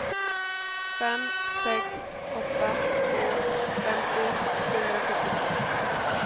fem sex åtta två femtio sjuhundrasjuttiotvå